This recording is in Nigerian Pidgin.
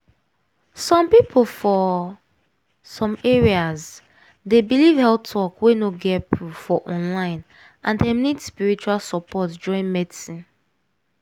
some people for some areas dey believe health talk wey no get proof for online and dem need spiritual support join medicine.